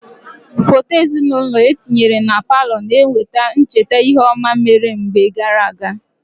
Foto ezinaụlọ etinyere na palọ na-eweta ncheta ihe ọma mere mgbe gaara aga.